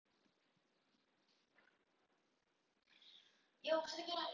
Ég neitaði því dauðhrædd og á endanum togaði hann mig niður.